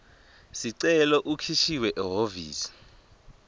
sicelo ukhishiwe ehhovisi